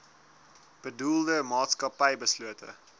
bedoelde maatskappy beslote